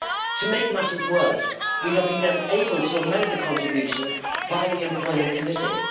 To make matters worse, we have been unable to amend the contribution by the Employment Committee.